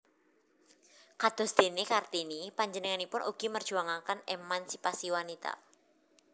Kadosdéné Kartini panjenenganipun ugi merjuangaken émansipasi wanita